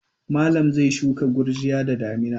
Malam zai shuka gurjiya da damina.